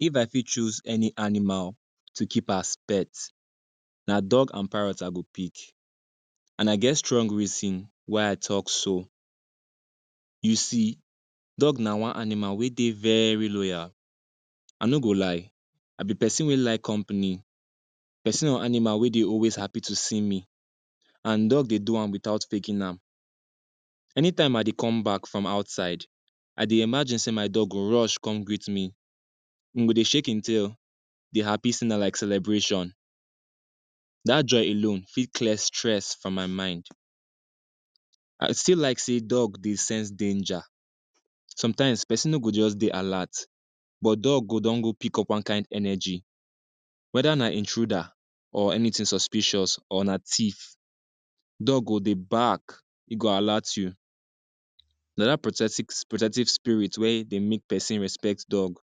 If I fit choose any animal to keep as pet, na dog an parrot I go pick, an I get strong reason why I talk so. You see, dog na one animal wey dey very loyal. I no go lie, I be peson wey like company, peson wey want animal wey dey always happy to see me, an dog dey do am without faking am. Anytime I dey come back from outside, I dey imagine sey my dog go rush come greet me. Ein go dey shake ein tail, dey happy sey na like celebration. Dat joy alone fit clear stress from my mind. I still like sey dog dey sense danger. Sometimes, peson no go juz dey alert, but dog go don go pick up one kain energy. Whether na intruder, or anything suspicious, or na thief, dog go dey bark, e go alert you. Na dat protective spirit wey dey make peson respect dog.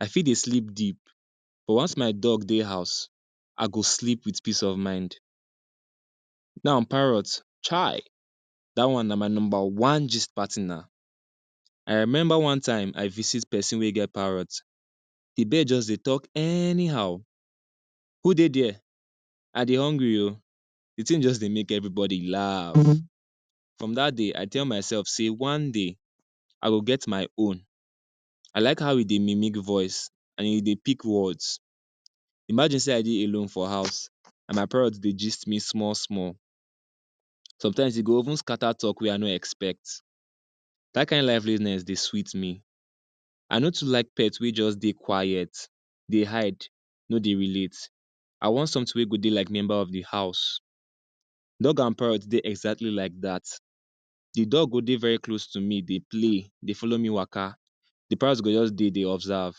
I fit dey sleep deep, but once my dog dey house, I go sleep with peace of mind. Now parrot, chai! Dat one na my nomba one gist partner. I remember one time I visit peson wey get parrot, the bird juz dey talk anyhow. “Who dey there?” “I dey hungry oh,” the tin juz dey make everybody laf. From dat day, I tell mysef sey one day, I go get my own. I like how e dey mimic voice, an e dey pick words. Imagine sey I dey alone for house an my parrot dey gist me small-small. Sometimes, e go even scatter talk wey I no expect. Dat kain liveliness dey sweet me. I no too like pet wey juz dey quiet, dey hide, no dey relate. I want something wey go dey like member of the house. Dog an parrot dey exactly like dat. The dog go dey very close to me dey play, dey follow me waka, the parrot go juz dey de observe,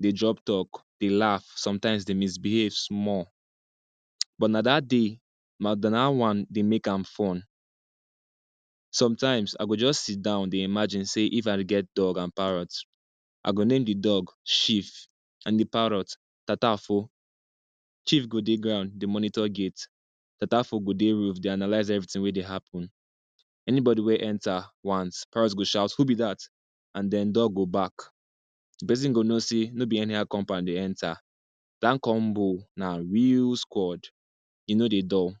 de drop talk, dey laf, sometimes de misbehave small, but na dat day dat one dey make am fun. Sometimes, I go juz sit down dey imagine sey if I get dog an parrot, I go name the dog Chief, an the parrot, Tatafo. Chief go dey ground, dey monitor gate; Tatafo go dey roof, de analyse everything wey dey happen. Anybody wey enter, once, parrot go shout “Who be dat?” an then dog go bark. The peson go know sey no be anyhow compound e enter. Dat combo na real squad. E no dey dull.